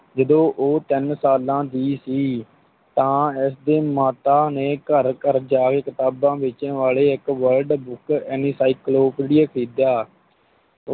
ਜਦੋਂ ਉਹ ਤਿੰਨ ਸਾਲਾਂ ਦੀ ਸੀ, ਤਾਂ ਇਸ ਦੀ ਮਾਤਾ ਨੇ ਘਰ ਘਰ ਜਾ ਕੇ ਕਿਤਾਬਾਂ ਵੇਚਣ ਵਾਲੇ ਇੱਕ world book encyclopedia ਖਰੀਦਿਆ।